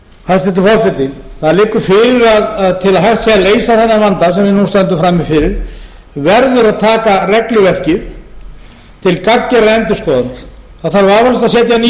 hæstvirtur forseti það liggur fyrir að til að hægt sé að leysa þennan vanda sem við nú stöndum frammi fyrir verður að taka regluverkið til gagngerðrar endurskoðunar það þarf vafalaust að setja ný